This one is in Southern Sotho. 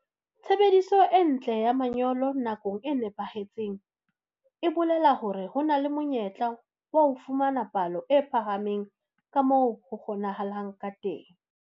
Tshebediso e ntle ya manyolo nakong e nepahetseng e bolela hore ho na le monyetla wa ho fumana palo e phahameng ka moo ho kgonahalang ka teng.